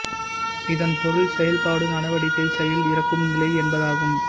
இதன் பொருள் செயல்பாடு நடவடிக்கை செயல் இறக்கும் நிலை என்பதாகும்